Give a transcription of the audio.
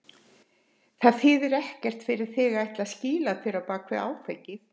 Það þýðir ekkert fyrir þig að ætla að skýla þér á bak við áfengið.